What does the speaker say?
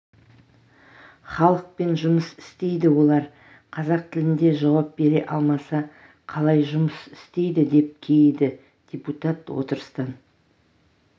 халықпен жұмыс істейді олар қазақ тілінде жауап бере алмаса қалай жұмыс істейді деп кейіді депутат отырыстан